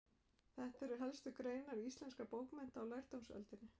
Þetta eru helstu greinar íslenskra bókmennta á lærdómsöldinni.